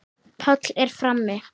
Páll er frammi.